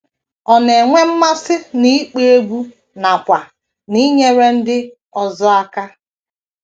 Ọ na - enwe mmasị n’ịkpọ egwú nakwa n’inyere ndị ọzọ aka.